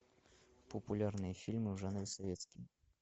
популярные фильмы в жанре советский